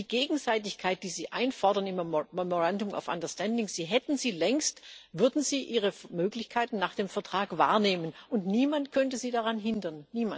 Die Gegenseitigkeit, die Sie im memorandum of understanding einfordern, Sie hätten sie längst, würden Sie Ihre Möglichkeiten nach dem Vertrag wahrnehmen und niemand könnte Sie daran hindern.